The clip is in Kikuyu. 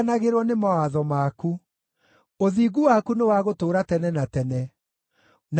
Ũthingu waku nĩ wa gũtũũra tene na tene, naguo watho waku nĩ wa ma.